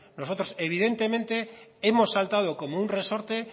nosotros evidentemente hemos saltado como un resorte